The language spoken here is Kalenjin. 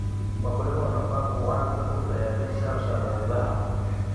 Wakulima wanafaa kuanza na kutayarisha shamba zao